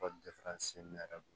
ne yɛrɛ bolo